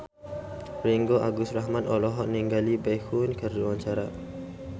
Ringgo Agus Rahman olohok ningali Baekhyun keur diwawancara